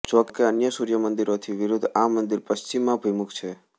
જોકે અન્ય સૂર્યમંદિરોથી વિરુદ્ધ આ મંદિર પશ્ચિમાભિમુખ છે